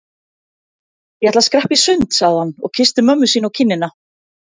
Ég ætla að skreppa í sund sagði hann og kyssti mömmu sína á kinnina.